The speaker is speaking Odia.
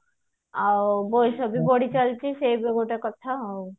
ଆଉ ବୟସ ବି ବଢି ଚାଲିଛି ସେ ବି ଗୋଟେ କଥା ଆଉ